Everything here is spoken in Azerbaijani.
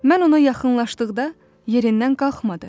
Mən ona yaxınlaşdıqda yerindən qalxmadı.